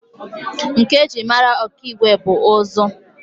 Nka e ji mara Okigwe bụ ụzụ